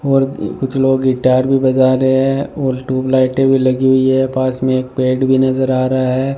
और कुछ लोग गिटार भी बजा रहे हैं और ट्यूबलाइट भी लगी हुई है पास में एक पेड़ भी नजर आ रहा है।